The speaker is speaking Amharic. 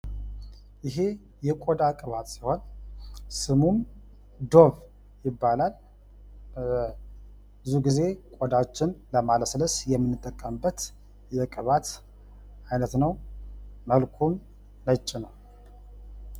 ይህ የቆዳ ቅባት ሲሆን ስሙም ዶቭ ይባላል። ብዙ ጊዜ ቆዳችን ለማለስለስ የምንጠቀምበት የቅባት አይነት ነው ።መልኩም ነጭ ነው ።